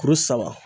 Kuru saba